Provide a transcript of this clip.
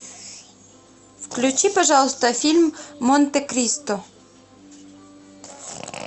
включи пожалуйста фильм монте кристо